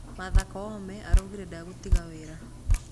Martha Koome araugire ndegũtiga wĩĩra